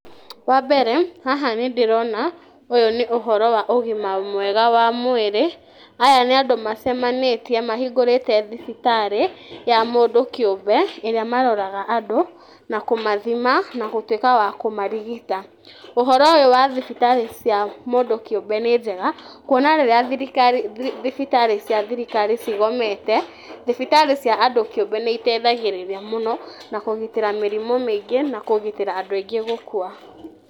Wa mbere, haha nĩ ndĩrona ũyũ nĩ ũhoro wa ũgima mwega wa mwĩrĩ, aya nĩ andũ macemanĩtie mahingũrĩte thibitarĩ ya mũndũ kĩũmbe ĩrĩa maroraga andũ, na kũmathima, na gũtuĩka a kũmarigita. Ũhoro ũyũ wa thibitarĩ cia mũndũ kĩũmbe nĩ njega, kuona rĩrĩa thibitarĩ cia thirikari cigomete, thibitarĩ cia andũ kĩũmbe nĩ iteithagĩrĩria mũno na kũgitĩra mĩrimũ mĩingĩ na kũgitĩra andũ aingĩ gũkua.